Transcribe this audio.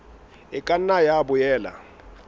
e ka nna ya boela